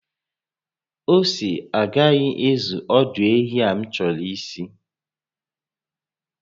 Ose a agaghị ezu ọdụ ehi a m chọrọ isi